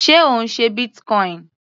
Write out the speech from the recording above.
Sé Ò ń ṣe Bitcoin?